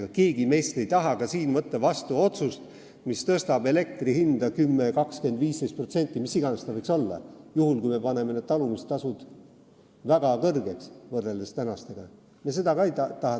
Ega keegi meist ei taha võtta vastu otsust, mis tõstab elektrihinda 10, 20, 15% või kui palju tahes, juhul kui me muudame talumistasud praegustega võrreldes väga kõrgeks.